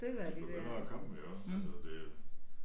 De begynder at komme iggås altså det